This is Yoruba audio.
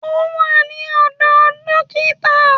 Ó wà ní ọ̀dọ̀ dókítà